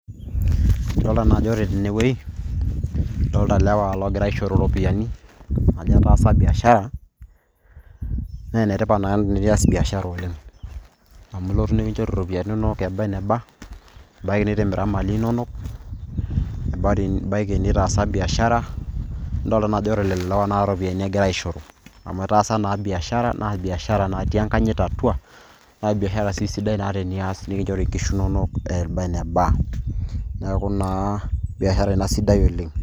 Adolta najo ore tenewei, adolta lewa logira aishoro ropiyaiani ajo etaasa biashara. Na enetipat naa tinias biashara oleng'. Amu lotu nikinchori ropiyaiani nonok eba eneba, ebaki nitimira mali inonok. Ebaki nitaasa biashara. Adol naa ajo ore lelo lewa na ropiyaiani egira aishoro. Amu etaasa naa biashara na biashara natii enkanyit atua, na biashara na si sidai na tenias nikinchori inkishu nonok eba eneba. Neeku naa, biashara ina sidai oleng'.